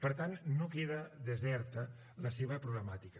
per tant no queda deserta la seva problemàtica